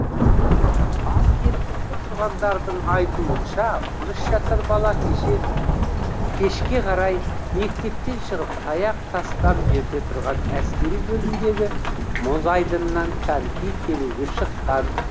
ал жергілікті тұрғындардың айтуынша он үш жасар бала кешке қарай мектептен шығып таяқ тастам жерде тұрған әскери бөлімдегі мұз айдынына коньки тебуге шыққан